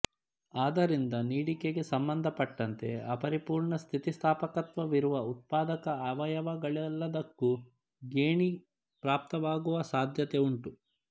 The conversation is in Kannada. ಅದರಿಂದ ನೀಡಿಕೆಗೆ ಸಂಬಂಧಪಟ್ಟಂತೆ ಅಪರಿಪುರ್ಣ ಸ್ಥಿತಿಸ್ಥಾಪಕತ್ವವಿರುವ ಉತ್ಪಾದಕ ಅವಯವಗಳೆಲ್ಲದಕ್ಕೂ ಗೇಣಿ ಪ್ರಾಪ್ತವಾಗುವ ಸಾಧ್ಯತೆ ಉಂಟು